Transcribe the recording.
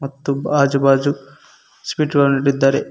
ಮತ್ತು ಆಜು ಬಾಜು ಸ್ವೀಟ್ ಗಳನ್ನ ಇಟ್ಟಿದಾರೆ.